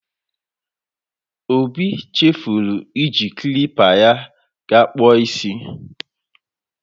Obi chefuru iji klipa ya ga ịkpụ isi.